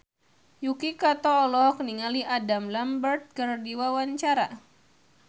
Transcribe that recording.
Yuki Kato olohok ningali Adam Lambert keur diwawancara